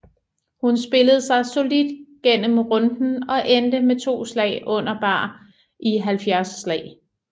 Hun spillede sig solidt gennem runden og endte med 2 slag under bar i 70 slag